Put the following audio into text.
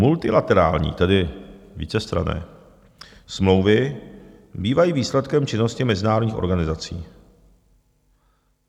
Multilaterální, tedy vícestranné smlouvy bývají výsledkem činnosti mezinárodních organizací.